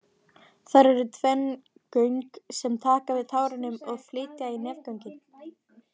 Þar eru tvenn göng sem taka við tárunum og flytja í nefgöngin.